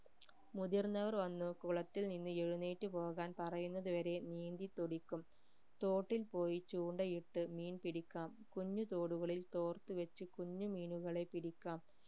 മുതിർന്നവർ വന്ന് കുളത്തിൽ നിന്ന് എഴുന്നേറ്റു പോകാൻ പറയുന്നതു വരെ നീന്തി തുടിക്കും തോട്ടിൽ പോയി ചൂണ്ടയിട്ട് മീൻ പിടിക്കാം കുഞ്ഞു തോടുകളിൽ തോർത്ത് വെച്ച് കുഞ്ഞു മീനുകളെ പിടിക്കാം